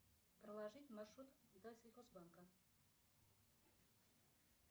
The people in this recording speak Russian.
проложить маршрут до сельхозбанка